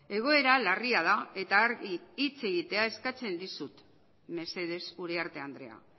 egoera larria da eta argi hitz egitea eskatzen dizut mesedez uriarte andrea